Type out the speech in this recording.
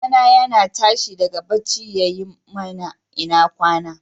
Ɗa na yana tashi daga bacci yayi mana " ina kwana".